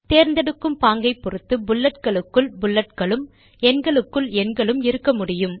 தேர்ந்தெடுக்கும் பாங்கை பொருத்து புல்லட்களுக்குள் புல்லட்களும் எண்களுக்குள் எண்களும் இருக்க முடியும்